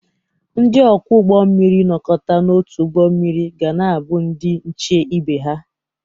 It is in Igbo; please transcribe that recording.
Ndị ọkwọ ụgbọ mmiri nọkọta n'otu ụgbọ mmiri ga na-abụ ndị nche ibe ha.